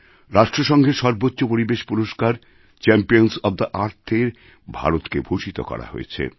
রাষ্ট্র সঙ্ঘের সর্বোচ্চ পরিবেশ পুরস্কার চ্যাম্পিয়নস ওএফ থে Earthএ ভারতকে ভূষিত করা হয়েছে